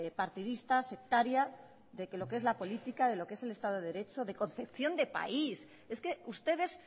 partidista sectaria de que lo que es la política de lo que es el estado de derecho de concepción de país es que ustedes